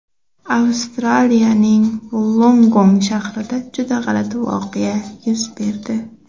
Avstraliyaning Vullongong shahrida juda g‘alati voqea yuz berdi.